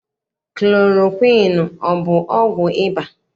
Klorokwiini ọ bụ ọgwụ ịba?